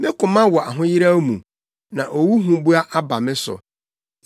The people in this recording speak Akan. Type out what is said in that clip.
Me koma wɔ ahoyeraw mu; na owu huboa aba me so.